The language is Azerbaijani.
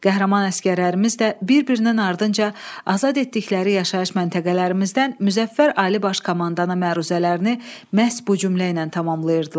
Qəhrəman əsgərlərimiz də bir-birinin ardınca azad etdikləri yaşayış məntəqələrimizdən Müzəffər Ali Baş Komandana məruzələrini məhz bu cümlə ilə tamamlayırdılar.